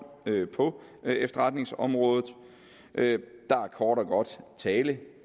på efterretningsområdet der er kort og godt tale